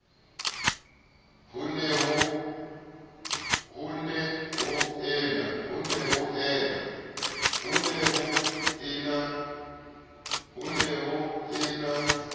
ho ne ho e na